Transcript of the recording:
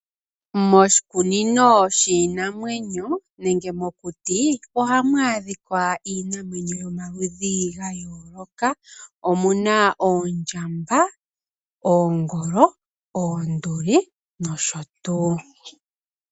Moshikununi shiinamwenyo nenge mokuti ohamu adhikwa iinamwenyo yomaludhi ga yooloka . Omuna oondjamba, oongolo, oonduli nosho tuu.